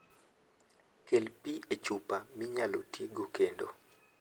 Kel pi e chupa minyalo ti godo kendo.